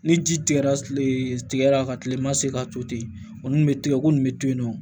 Ni ji tigɛra tigɛra ka kile ma se ka to ten o nun be tigɛ ko nin be to yen nɔ